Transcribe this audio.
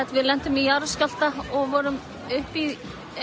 við lentum í jarðskjálfta og vorum uppi